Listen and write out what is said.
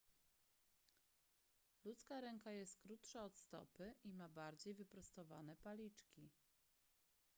ludzka ręka jest krótsza od stopy i ma bardziej wyprostowane paliczki